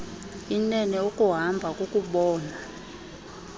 inene ukuhamba kukubona